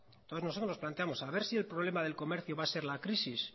entonces nosotros nos planteamos a ver si el problema del comercio va a ser la crisis